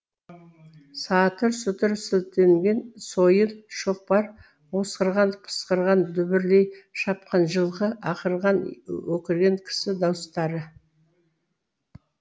сатыр сұтыр сілтенген сойыл шоқпар осқырған пысқырған дүбірлей шапқан жылқы ақырған өкірген кісі дауыстары